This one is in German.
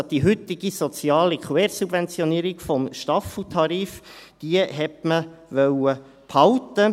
Die heutige soziale Quersubventionierung des Staffeltarifs wollte man also behalten.